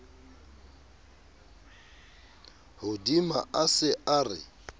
hodima a se a re